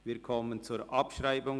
Wir kommen zur Abschreibung.